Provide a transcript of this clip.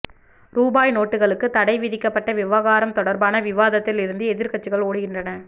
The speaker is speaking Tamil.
ரூபாய் நோட்டுகளுக்கு தடை விதிக்கப்பட்ட விவகாரம் தொடர்பான விவாதத்தில் இருந்து எதிர்க்கட்சிகள் ஓடுகின்றன